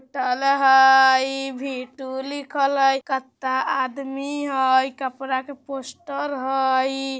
होटल हय इ V two लिखल हय कता आदमी हय कपड़ा के पोस्टर हय इ।